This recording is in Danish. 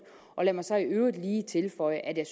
lad mig så i øvrigt lige tilføje at jeg